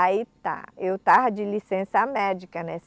Aí tá, eu tava de licença médica, né?